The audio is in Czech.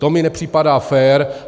To mi nepřipadá fér.